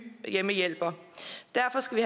hjemmehjælper derfor skal